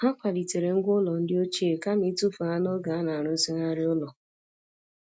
Ha kwalitere ngwá ụlọ ndị ochie kama ịtụfu ha n'oge a na-arụzigharị ụlọ.